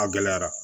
A gɛlɛyara